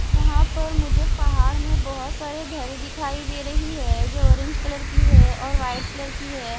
यहां पर मुझे पहाड़ में बहोत सारे घरे दिखाई दे रही है जो ऑरेंज कलर की है और वाइट कलर की है।